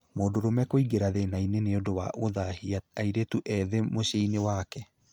Mũndũrũme kũingĩra thĩna-inĩ nĩ ũndũ wa gũthahia airĩtu ethĩ mũciĩ-inĩ wake